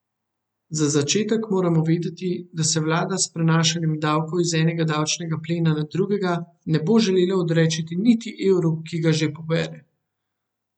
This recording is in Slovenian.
Za začetek moramo vedeti, da se vlada s prenašanjem davkov iz enega davčnega plena na drugega ne bo želela odreči niti evru, ki ga že pobere.